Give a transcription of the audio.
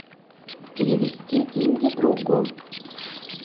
перевести деньги другу